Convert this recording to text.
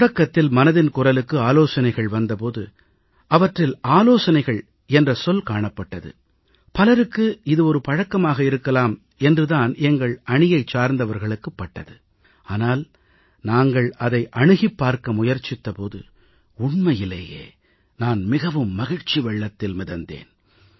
தொடக்கத்தில் மனதின் குரலுக்கு ஆலோசனைகள் வந்த போது அவற்றில் ஆலோசனைகள் என்ற சொல் காணப்பட்டது பலருக்கு இது ஒரு பழக்கமாக இருக்கலாம் என்று தான் எங்கள் அணியைச் சார்ந்தவர்களுக்குப் பட்டது ஆனால் நாங்கள் அதை அணுகிப் பார்க்க முயற்சித்த போது உண்மையிலேயே நான் மிகவும் மகிழ்ச்சி வெள்ளத்தில் மிதந்தேன்